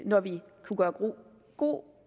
når vi kunne gøre god